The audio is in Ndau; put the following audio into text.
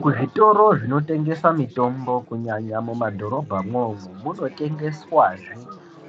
Muzvitoro zvinotengesa mitombo kunyanya mumadhorobha imomo munotengeswazve